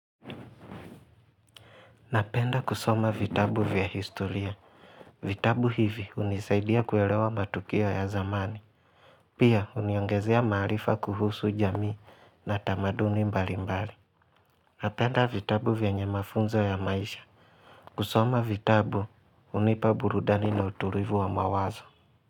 Napenda kusoma vitabu vya historia. Vitabu hivi hunisaidia kuelewa matukio ya zamani. Pia huniongezea maarifa kuhusu jamii na tamaduni mbali mbali. Napenda vitabu vyenye mafunzo ya maisha. Kusoma vitabu hunipa burudani na utulivu wa mawazo.